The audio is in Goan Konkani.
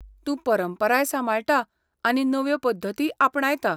तूं परंपराय सांबाळटा आनी नव्यो पद्दतीय आपणायता.